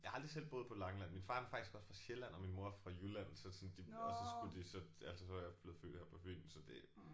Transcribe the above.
Jeg har aldrig selv boet på Langeland. Min far han er faktisk også fra Sjælland og min mor er fra Jylland så sådan det og så skulle de så altså så er jeg blevet født her på Fyn så det